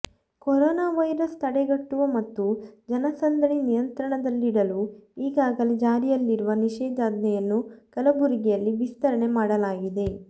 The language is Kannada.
ಕೊರೋನಾ ವೈರಸ್ ತಡೆಗಟ್ಟುವ ಮತ್ತು ಜನಸಂದಣಿ ನಿಯಂತ್ರಣದಲ್ಲಿಡಲು ಈಗಾಗಲೇ ಜಾರಿಯಲ್ಲಿರುವ ನಿಷೇಧಾಜ್ಞೆಯನ್ನು ಕಲಬುರಗಿಯಲ್ಲಿ ವಿಸ್ತರಣೆ ಮಾಡಲಾಗಿದೆ